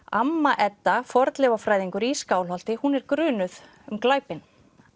amma Edda fornleifafræðingur í Skálholti hún er grunuð um glæpinn